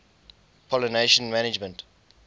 pollination management